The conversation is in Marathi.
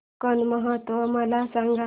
कोकण महोत्सव मला सांग